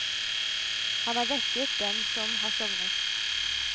Han har vekket dem som har sovnet.